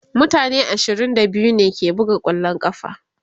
mutane ashirin da biyu ne ke buga kwallon ƙafa